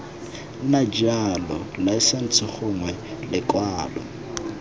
nna jalo laesense gongwe lekwalo